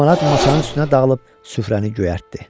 Limonad masanın üstünə dağılıb süfrəni göyərtdi.